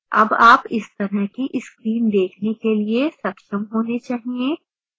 अब आप इस तरह की screen देखने के लिए सक्षम होने चाहिए